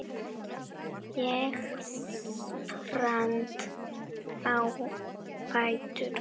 Ég spratt á fætur.